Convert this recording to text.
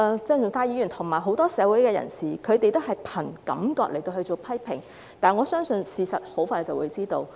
鄭議員及很多社會人士也是憑感覺作出批評，但我相信大家很快便會知道事實。